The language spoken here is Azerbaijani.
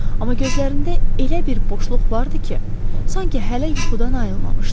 Amma gözlərində elə bir boşluq var idi ki, sanki hələ yuxudan ayılmamışdı.